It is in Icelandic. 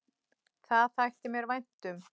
Það þætti mér vænt um